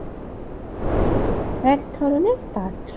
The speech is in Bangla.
এক ধরনের পাত্র।